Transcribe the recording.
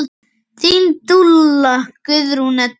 Þín dúlla, Guðrún Edda.